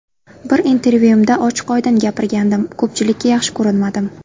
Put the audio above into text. Bir intervyuimda ochiq-oydin gapirgandim, ko‘pchilikka yaxshi ko‘rinmadim.